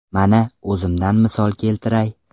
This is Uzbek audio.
Mana, o‘zimdan misol keltiray.